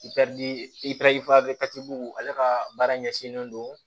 ale ka baara ɲɛsinnen don